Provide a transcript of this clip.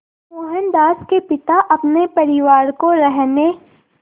मोहनदास के पिता अपने परिवार को रहने